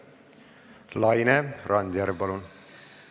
Laine Randjärv, palun!